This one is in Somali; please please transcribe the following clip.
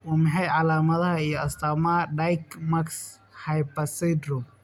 Waa maxay calaamadaha iyo astaamaha Dykes Markes Harper syndrome?